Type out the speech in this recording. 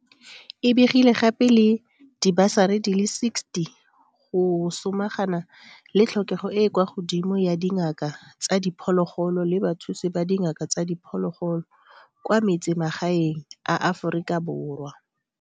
E begile gape le dibasari di le 60 go samagana le tlhokego e e kwa godimo ya dingaka tsa diphologolo le bathusi ba dingaka tsa diphologolo kwa metsemagaeng a Aforika Borwa.